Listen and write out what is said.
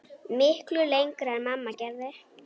Miklu lengra en mamma gerði.